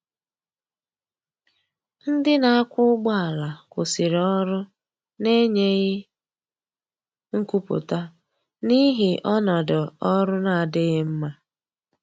Ndi na akwa ụgbọ ala kwụsiri ọrụ na enyeghi nkwụputa n'ihi ọnọdọ ọrụ na-adighi mma.